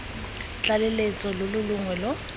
tlaleletso lo lo longwe lo